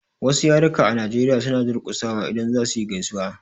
Wasu yaruka a Nigeria suna durƙusawa idan za suyi gaisuwa.